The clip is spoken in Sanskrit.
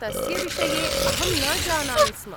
तस्य विषये अहं न जानामि स्म।